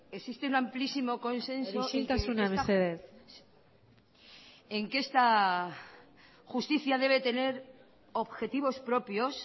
existe un amplísimo consenso isiltasuna mesedez en que esta justicia debe tener objetivos propios